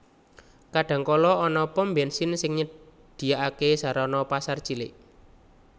Kadang kala ana pom bènsin sing nyedhiyakaké sarana pasar cilik